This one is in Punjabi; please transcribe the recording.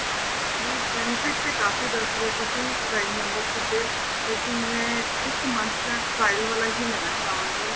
ਨੀ benefits ਤੇ ਕਾਫੀ ਦੱਸ ਰਹੇ ਹੋ ਤੁਸੀਂ prime membership ਦੇ ਲੇਕਿਨ ਮੈਂ ਇੱਕ month ਦਾ trial ਵਾਲਾ ਹੀ ਲੈਣਾ ਚਾਹਵਾਗੀ